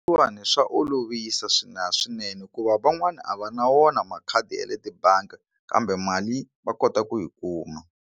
Leswiwani swa olovisa swinene hikuva van'wana a va na wona makhadi ya le tibangi kambe mali va kota ku yi kuma.